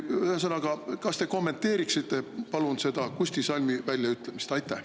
Ühesõnaga, kas te kommenteeriksite palun Kusti Salmi väljaütlemist?